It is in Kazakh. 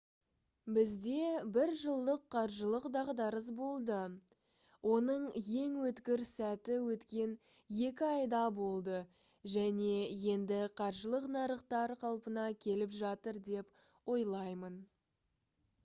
бізде бір жылдық қаржылық дағдарыс болды оның ең өткір сәті өткен екі айда болды және енді қаржылық нарықтар қалпына келіп жатыр деп ойлаймын»